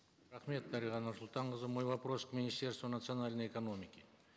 рахмет дариға нұрсұлтанқызы мой вопрос к министерству национальной экономики